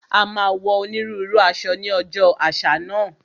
A máa wọ onírúurú aṣọ ní ọjọ́ àṣà náà